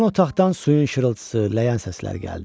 Yan otaqdan suyun şırıltısı, ləyən səsləri gəldi.